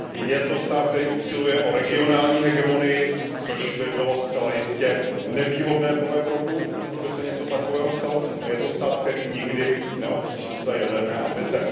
Je to stát, který usiluje o regionální hegemonii, což by bylo zcela jistě nevýhodné pro Evropu, pokud by se něco takového stalo, a je to stát, který nikdy neopustil své jaderné ambice.